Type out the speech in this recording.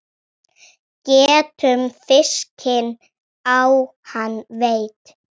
Getum fiskinn á hann veitt.